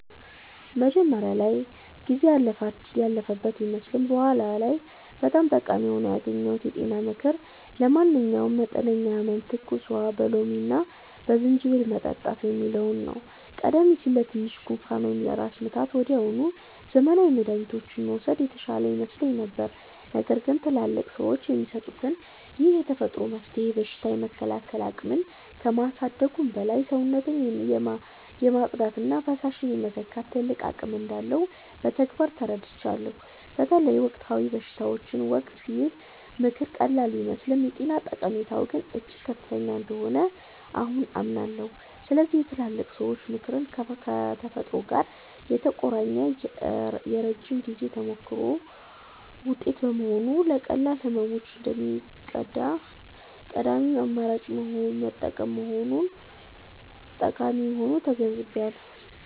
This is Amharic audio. መጀመሪያ ላይ ጊዜ ያለፈበት ቢመስልም በኋላ ላይ በጣም ጠቃሚ ሆኖ ያገኘሁት የጤና ምክር 'ለማንኛውም መጠነኛ ህመም ትኩስ ውሃ በሎሚና በዝንጅብል መጠጣት' የሚለው ነው። ቀደም ሲል ለትንሽ ጉንፋን ወይም ለራስ ምታት ወዲያውኑ ዘመናዊ መድኃኒቶችን መውሰድ የተሻለ ይመስለኝ ነበር። ነገር ግን ትላልቅ ሰዎች የሚሰጡት ይህ የተፈጥሮ መፍትሄ በሽታ የመከላከል አቅምን ከማሳደጉም በላይ፣ ሰውነትን የማጽዳትና ፈሳሽ የመተካት ትልቅ አቅም እንዳለው በተግባር ተረድቻለሁ። በተለይ በወቅታዊ በሽታዎች ወቅት ይህ ምክር ቀላል ቢመስልም የጤና ጠቀሜታው ግን እጅግ ከፍተኛ እንደሆነ አሁን አምናለሁ። ስለዚህ የትላልቅ ሰዎች ምክር ከተፈጥሮ ጋር የተቆራኘና የረጅም ጊዜ ተሞክሮ ውጤት በመሆኑ፣ ለቀላል ህመሞች እንደ ቀዳሚ አማራጭ መጠቀም ጠቃሚ መሆኑን ተገንዝቤያለሁ።